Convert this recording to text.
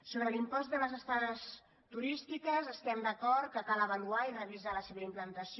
sobre l’impost de les estades turístiques estem d’acord que cal avaluar i revisar la seva implantació